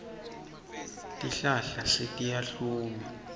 tihlahla setiyahluma